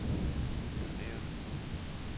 Pyrenæerne